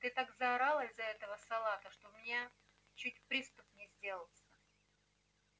ты так заорала из-за этого салата что у меня чуть приступ не сделался